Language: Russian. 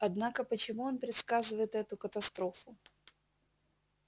однако почему он предсказывает эту катастрофу